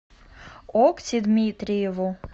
окси дмитриеву